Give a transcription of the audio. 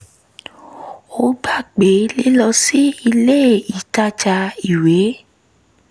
ó gbà pé lílọ sí ilé ìtajà ìwé